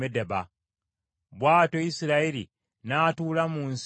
Bw’atyo Isirayiri n’atuula mu nsi y’Abamoli.